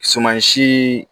Sumansi